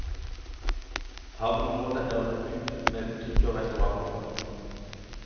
Havneområdet er utbygd med butikker og restauranter.